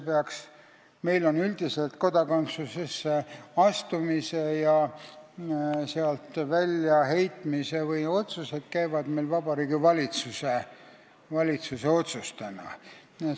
Üldiselt on meil kodakondsusesse astumise ja sealt väljaheitmise otsused Vabariigi Valitsuse teha olnud.